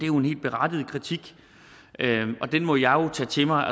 jo en helt berettiget kritik og den må jeg jo tage til mig